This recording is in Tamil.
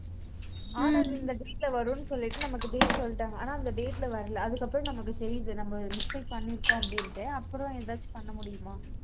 ஆனா இது இந்த date ல வரும்னு சொல்லிட்டு, நமக்கு date சொல்லிட்டாங்க. ஆனா, அந்த date ல வரலை. அதுக்கப்புறம் நமக்கு தெரியுது. நம்ம mistake பண்ணியிருக்கோம் அப்படின்னுட்டு. அப்புறம் ஏதாச்சும் பண்ண முடியுமா